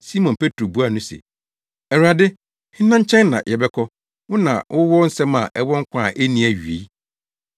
Simon Petro buaa no se, “Awurade, hena nkyɛn na yɛbɛkɔ? Wo na wowɔ nsɛm a ɛwɔ nkwa a enni awiei.